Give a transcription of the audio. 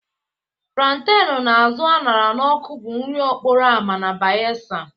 Plantain na azụ a ṅara n'ọkụ bụ nri okporo ámá na Bayelsa